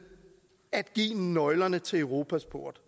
at give nøglerne til europas port